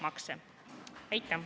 Aitäh!